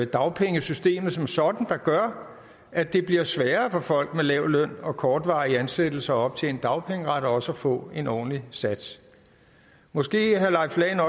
dagpengesystemet som sådan der gør at det bliver sværere for folk med lav løn og kortvarige ansættelser at optjene dagpengeret og også at få en ordentlig sats måske herre leif lahn